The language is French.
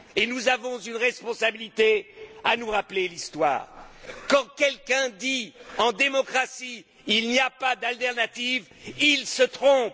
Et nous avons la responsabilité de nous rappeler l'histoire. Quand quelqu'un dit, en démocratie Il n'y a pas d'alternative, il se trompe.